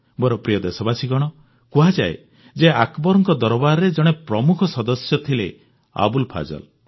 ମୋର ପ୍ରିୟ ଦେଶବାସୀଗଣ କୁହାଯାଏ ଯେ ଆକବରଙ୍କ ଦରବାରରେ ଜଣେ ପ୍ରମୁଖ ସଦସ୍ୟ ଥିଲେ ଆବୁଲ ଫଜଲ